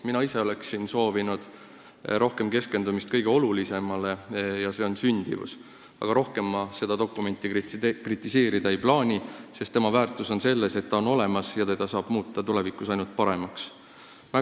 Mina ise oleksin soovinud rohkem keskendumist kõige olulisemale, s.o sündimusele, aga rohkem ma seda dokumenti kritiseerida ei plaani, sest tema väärtus on selles, et ta on olemas ja teda saab tulevikus ainult paremaks muuta.